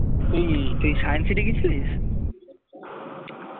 তুই তুই science city গেছিলিস?